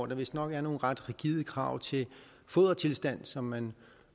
er vistnok nogle ret rigide krav til fodertilstand som man